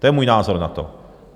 To je můj názor na to.